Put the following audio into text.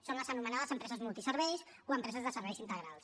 són les anomenades empreses multiserveis o empreses de serveis integrals